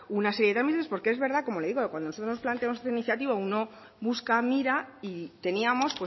una serie de porque es verdad como le digo que cuando nosotros nos planteábamos esta iniciativa uno busca mira y teníamos